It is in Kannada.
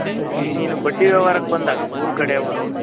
ಈಗ ನೀನು ಬಡ್ಡಿ ವ್ಯವಹಾರಕ್ಕೇ ಬಂದಾಗ ಊರ್ ಕಡೆ ಅವ್ರು,